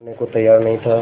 करने को तैयार नहीं था